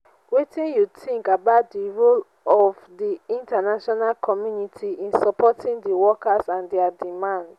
wetin you think about di role of di international community in supporting di workers and dia demands?